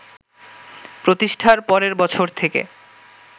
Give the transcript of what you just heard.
প্রতিষ্ঠার পরের বছর থেকে